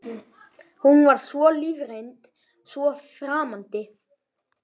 Hún var svo lífsreynd, svo framandi.